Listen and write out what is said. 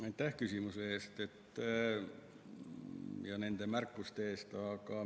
Aitäh küsimuse eest ja nende märkuste eest!